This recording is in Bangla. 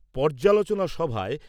পর্যালোচনা সভায়